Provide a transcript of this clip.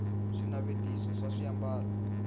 swinavetiso swa swiambalo